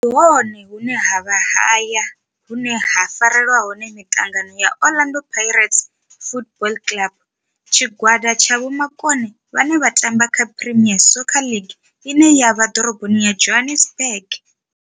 Ndi hone hune havha haya hune ha farelwa hone miṱangano ya Orlando Pirates Football Club. Tshigwada tsha vhomakone vhane vha tamba kha Premier Soccer League ine ya vha Dorobo ya Johannesburg.